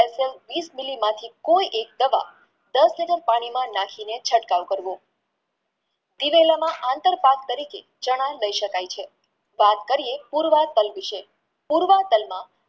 વિસ MILI માંથી કોઈ એક દવા ડેર કે ડેન પાણીમાં નાખીને છટકાવ કરવો આંતર પાત તરીકે ચણા લાય શકાય છે વાત કરીયે પૂર્વપય વિષે પૂર્વપય